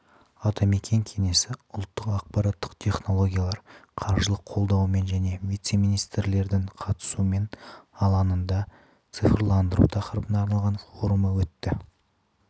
атамекен кеңесі ұлттық ақпараттық технологиялар қаржылық қолдауымен және вице-министрлердің қатысуымен алаңында цифрландыру тақырыбына арналған форумы өтеді